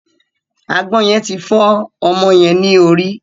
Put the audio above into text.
Àgbọn yen ti fọ ọmọ yẹn ni orí.